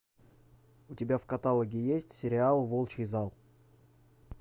у тебя в каталоге есть сериал волчий зал